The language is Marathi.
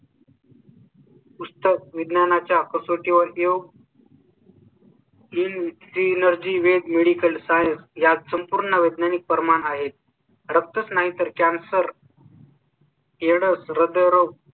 पुस्तक विज्ञानाच्या कसोटी वर येऊ . Dmitri Energy Velg Medical science या संपूर्ण वैज्ञानिक परमार आहेत. रक्तच नाही तर camcer, aids रद्द room